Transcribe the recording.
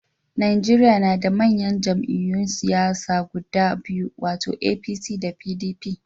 Najeriya na da manyan jam'iyyun siyasa guda biyu, wato APC da PDP.